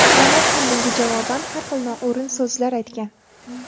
Davlat ham bunga javoban har xil noo‘rin so‘zlar aytgan.